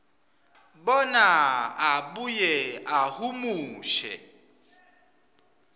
bona abuye ahumushe